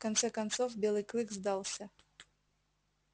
в конце концов белый клык сдался